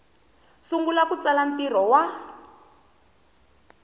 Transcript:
sungula ku tsala ntirho wa